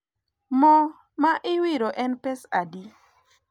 mo ma iwiro en pesadi?